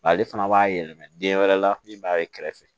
Ale fana b'a yɛlɛma den wɛrɛ la min b'a ye kɛrɛfɛ